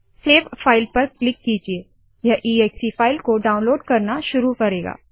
save file पर click कीजिये यह एक्से फाइल को डाउनलोड करना शुरू करेगा